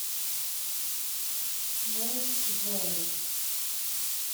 мэйчжоу